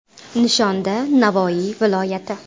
Nishonda Navoiy viloyati.